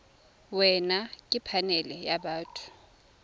wena ke phanele ya batho